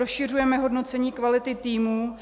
Rozšiřujeme hodnocení kvality týmu.